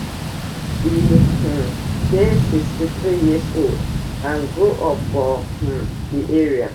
e um dey sixty-three years old and grow up for um di area